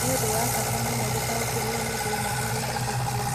Nĩ ũndũ wa bata mũno gũtaũkĩrũo nĩ thĩna ũrĩa ũrĩ kuo.